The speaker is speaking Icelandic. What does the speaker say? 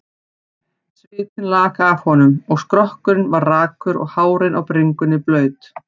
Svitinn lak af honum, og skrokkurinn var rakur og hárin á bringunni blaut.